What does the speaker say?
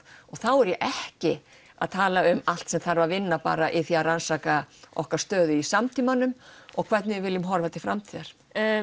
og þá er ég ekki að tala um allt sem þarf að vinna bara í því að rannsaka okkar stöðu í samtímanum og hvernig við viljum horfa til framtíðar